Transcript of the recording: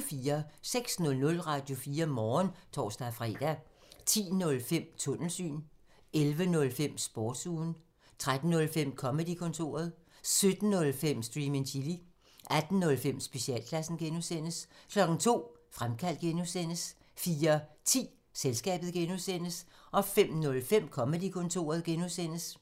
06:00: Radio4 Morgen (tor-fre) 10:05: Tunnelsyn 11:05: Sportsugen 13:05: Comedy-kontoret 17:05: Stream and chill 18:05: Specialklassen (G) 02:00: Fremkaldt (G) 04:10: Selskabet (G) 05:05: Comedy-kontoret (G)